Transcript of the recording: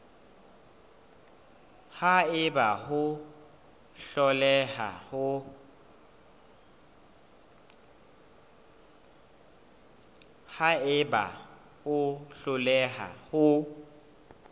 ha eba o hloleha ho